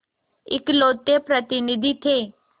इकलौते प्रतिनिधि थे